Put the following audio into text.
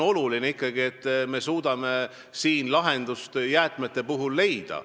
Oluline on ikkagi, et me suudame jäätmete puhul lahenduse leida.